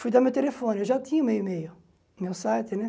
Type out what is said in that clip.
Fui dar meu telefone, eu já tinha o meu e-mail, meu site, né?